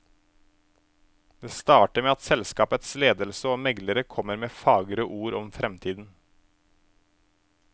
Det starter med at selskapets ledelse og meglere kommer med fagre ord om fremtiden.